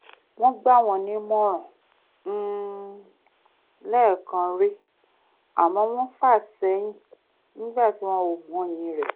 wọ́n gbà wọ́n nímọ̀ràn um lẹ́ẹ̀kan rí àmọ́ wọ́n fà sẹ́yìn nígbà tí wọn ò mọyì rẹ̀